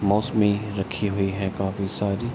मौसमी रखी हुई है काफी सारी।